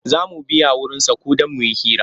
Za mu biya wurinsa ko don mu hira.